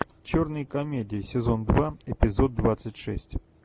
черные комедии сезон два эпизод двадцать шесть